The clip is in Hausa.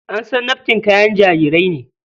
An san nafkin kayan jarirai ne.